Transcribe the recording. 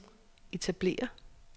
etablere